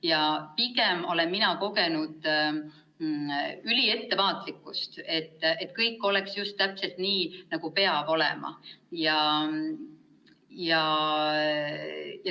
Ja mina olen pigem kogenud üliettevaatlikkust, et kõik oleks täpselt nii, nagu peab olema.